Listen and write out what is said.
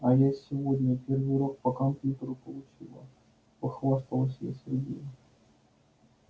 а я сегодня первый урок по компьютеру получила похвасталась я сергею